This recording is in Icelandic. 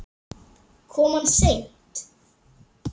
Kom hann seint?